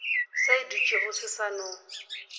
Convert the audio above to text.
se dutšego se sa no